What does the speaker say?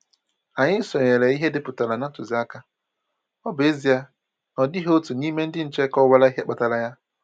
Anyị sonyere ihe e depụtaran na ntụziaka, ọ bụ ezie na ọ dịghị otu n'ime ndị nche kọwara ihe kpatara ya.